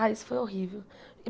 Ah, isso foi horrível.